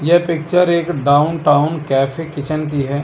यह पिक्चर एक downtown cafe kitchen की है।